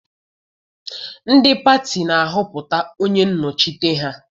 Ndị pati na-ahọpụta onye nnọchite ha.